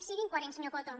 siguin coherents senyor coto